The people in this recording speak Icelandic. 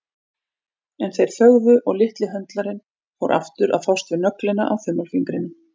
En þeir þögðu og litli höndlarinn fór aftur að fást við nöglina á þumalfingrinum.